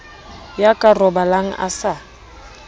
ya ka robalang a sa